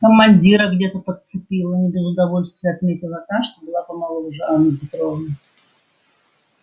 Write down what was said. командира где-то подцепила не без удовольствия отметила та что была помоложе анна петровна